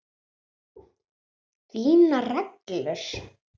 Þínar reglur?